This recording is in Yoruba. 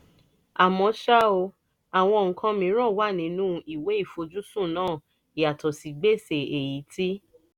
àmọ́ ṣá o àwọn nǹkan mìíràn wà nínú ìwé ìfojúsùn náà yàtọ̀ sí gbèsè èyí tí